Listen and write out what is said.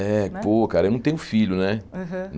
É, pô cara, eu não tenho filho, né? Aham